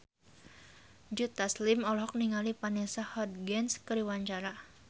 Joe Taslim olohok ningali Vanessa Hudgens keur diwawancara